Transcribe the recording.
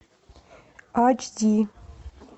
ач ди